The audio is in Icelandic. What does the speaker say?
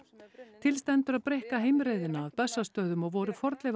til stendur að breikka heimreiðina að Bessastöðum og voru